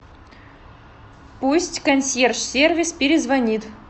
пусть консьерж сервис перезвонит